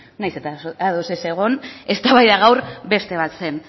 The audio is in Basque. nahiz eta ados ez egon eztabaida gaur beste bat zen